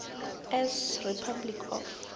s republic of